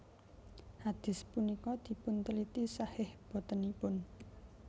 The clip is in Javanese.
Hadits punika dipunteliti shahih botenipun